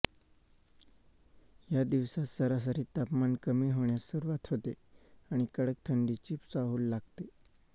या दिवसांत सरासरी तापमान कमी होण्यास सुरूवात होते आणि कडक थंडीची चाहूल लागते